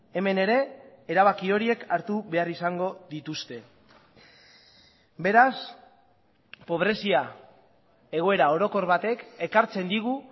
hemen ere erabaki horiek hartu behar izango dituzte beraz pobrezia egoera orokor batek ekartzen digu